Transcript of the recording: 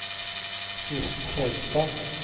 Kirsten Fjellstad